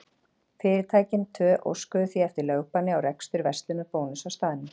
Fyrirtækin tvö óskuðu því eftir lögbanni á rekstur verslunar Bónuss á staðnum.